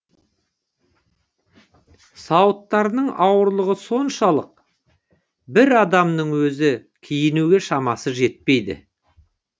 сауыттарының ауырлығы соншалық бір адамның өзі киінуге шамасы жетпейді